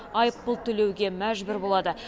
айыппұл төлеуге мәжбүр болады